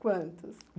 Quantos?